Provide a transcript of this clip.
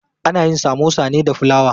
Ana yin samosa ne da fulawa.